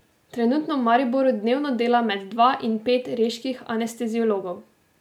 Trenutno v Mariboru dnevno dela med dva in pet reških anesteziologov.